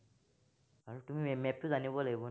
তুমি map টো জানিব লাগিব।